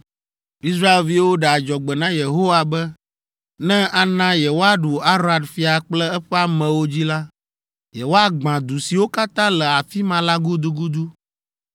Israelviwo ɖe adzɔgbe na Yehowa be, ne ana yewoaɖu Arad fia kple eƒe amewo dzi la, yewoagbã du siwo katã le afi ma la gudugudu.